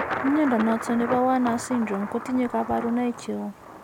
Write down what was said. Mnyondo noton nebo Werner's syndrome ko tinye kabarunaik cheu